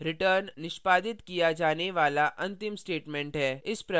जैसा मैंने पहले कहा return निष्पादित किया जाने वाला अंतिम statement है